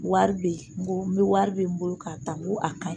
Wari be ye n ko n ko wari be n bolo k'a ta n ko a kaɲi